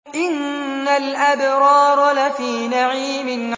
إِنَّ الْأَبْرَارَ لَفِي نَعِيمٍ